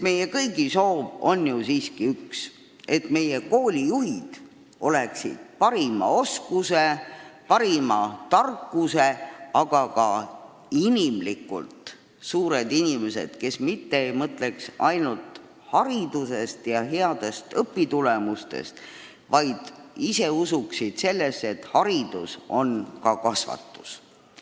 Meie kõigi soov on ju siiski üks: et Eesti koole juhiksid parimate oskustega väga targad inimesed, kes oleksid ka hingelt suured inimesed, kes mitte ei mõtleks ainult headest õpitulemustest, vaid usuksid kindlalt, et haridus on ka kasvatus.